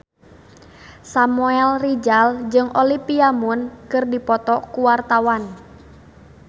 Samuel Rizal jeung Olivia Munn keur dipoto ku wartawan